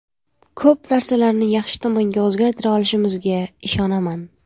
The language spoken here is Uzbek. Ko‘p narsalarni yaxshi tomonga o‘zgartira olishimizga ishonaman.